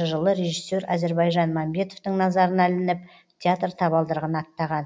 жылы режиссер әзірбайжан мамбетовтың назарына ілініп театр табалдырығын аттаған